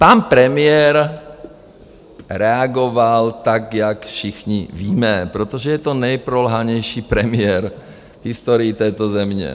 Pan premiér reagoval tak, jak všichni víme, protože je to nejprolhanější premiér v historii této země.